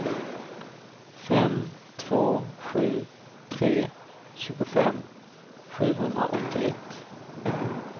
fem två sju tre tjugofem sjuhundraåttioett